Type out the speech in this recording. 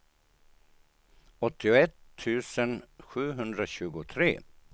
åttioett tusen sjuhundratjugotre